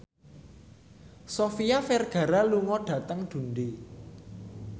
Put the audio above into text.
Sofia Vergara lunga dhateng Dundee